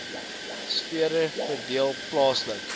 sfere verdeel plaaslik